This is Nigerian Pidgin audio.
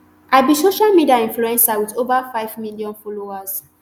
i be social media influencer wit ova five million followers